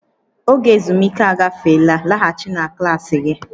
Oge ezumike agafeela, laghachi na klaasị gị!